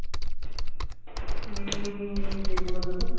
উম সেগুলোতে তো